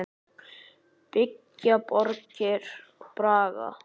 Byggja borgir bragga?